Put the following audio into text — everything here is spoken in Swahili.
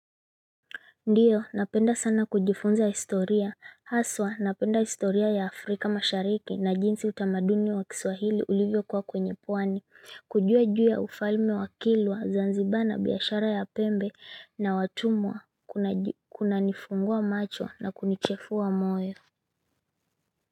Ndiyo, napenda sana kujifunza historia, haswa napenda historia ya Afrika mashariki na jinsi utamaduni wa kiswahili ulivyo kuwa kwenye pwani, kujua juu ya ufalme wakilwa, zanzibar na biashara ya pembe na watumwa kuna nifungua macho na kunichefua moyo.